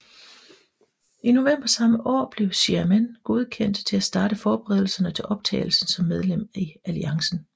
I november samme år blev Xiamen godkendt til at starte forberedelserne til optagelse som medlem i alliancen